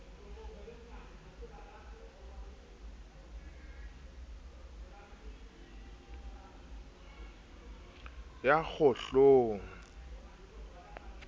ya kgohlong ka ha e